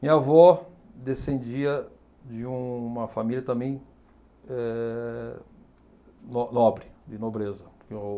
Minha avó descendia de uma família também eh no nobre, de nobreza.